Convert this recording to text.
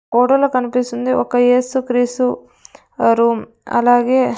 గోడలో కనిపిస్తుంది ఒక యేసుక్రీస్తు రూమ్ అలాగే --